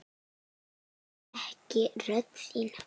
Ég þekki rödd þína.